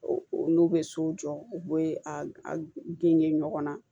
N'u bɛ sow jɔ u bɛ a genge ɲɔgɔn na